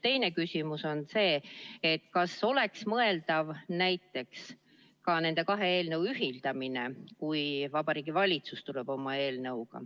Teine küsimus on see, et kas oleks mõeldav näiteks ka nende kahe eelnõu ühildamine, kui Vabariigi Valitsus tuleb oma eelnõuga.